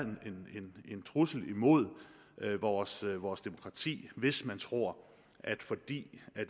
en trussel imod vores vores demokrati hvis man tror at fordi